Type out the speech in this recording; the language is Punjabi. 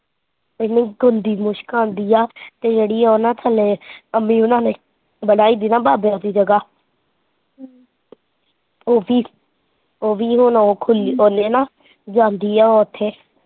ਐਨੀ ਗੰਦੀ ਮੁਸ਼ਕ ਆਉਂਦੀ ਐ ਤੇ ਉਹ ਨਾ ਜਿਹੜੀ ਥੱਲੇ ਬਣਾਈ ਨਾ ਬਾਬਿਆਂ ਦੀ ਜਗ੍ਹਾ ਉਹ ਵੀ ਹੁਣ ਔਖ ਹੁੰਦੀ ਉਹਨੇ ਨਾ ਜਾਂਦੀ ਹੈ ਉੱਥੇ।